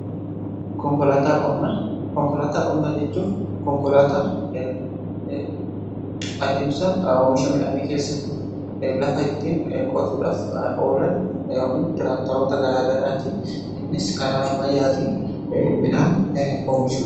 konkolaataa qonnaa jechuun adeemsa oomisha midhaanii keessatti lafa ittiin qotuudhaaf oolan yookiin tiraaktaroota garaagaraatii innis karaa ammayaati midhaan oomishuudha.